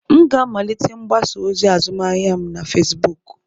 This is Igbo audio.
M ga-amalite mgbasa ozi azụmahịa m na Fezbuuku.